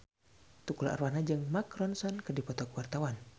Tukul Arwana jeung Mark Ronson keur dipoto ku wartawan